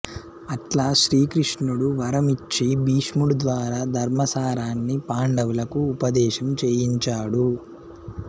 అట్లా శ్రీకృష్ణుడు వరం ఇచ్చి భీష్ముడి ద్వారా ధర్మ సారాన్ని పాండవులకు ఉపదేశం చేయించాడు